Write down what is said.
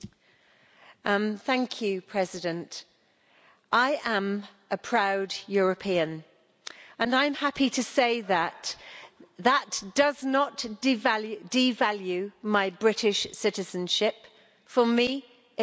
Mr President, I am a proud European and I am happy to say that that does not devalue my British citizenship, for me it only enhances it.